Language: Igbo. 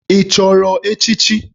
Ị chọrọ echichi?